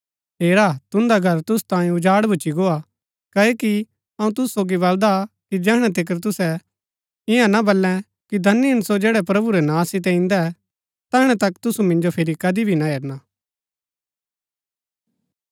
हेरा तुन्दा घर तुसु तांयें ऊजाड़ भुच्‍ची गोआ क्ओकि अऊँ तुसु सोगी बलदा कि जैहणै तिकर तुसै ईयां ना बल्लै कि धन्य हिन सो जैड़ै प्रभु रै नां सितै इन्दै तैहणै तक तुसु मिन्जो फिरी कदी भी ना हेरना